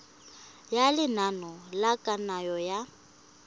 ya lenane la kananyo ya